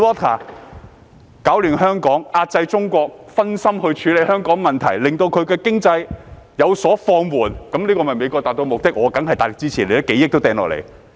他們攪亂香港，壓制中國，令中國因分心處理香港的問題以致經濟有所放緩，這樣美國便可達致其目的。